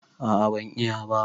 A'a ban iya ba.